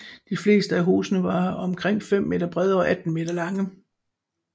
De fleste af husene var omkring 5 m brede og 18 m lange